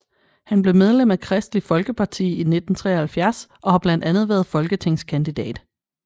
Han blev medlem af Kristeligt Folkeparti i 1973 og har blandt andet været folketingskandidat